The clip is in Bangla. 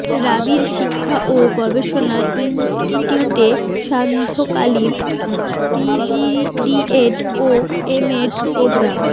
রাবির শিক্ষা ও গবেষণা ইনস্টিটিউটে সান্ধ্যকালীন পিজিডিএড ও এমএড প্রোগ্রাম